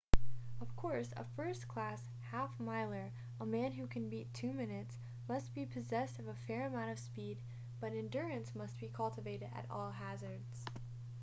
of course a first-class half-miler a man who can beat two minutes must be possessed of a fair amount of speed but endurance must be cultivated at all hazards